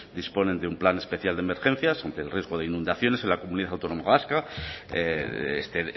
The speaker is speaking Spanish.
disponen de un plan especial de emergencias ante el riesgo de inundaciones en la comunidad autónoma vasca este